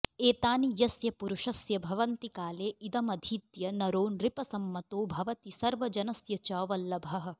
एतानि यस्य पुरुषस्य भवन्ति काले इदमधीत्य नरो नृपसम्मतो भवति सर्वजनस्य च वल्लभः